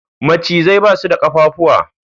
Macizai basu da kafafuwa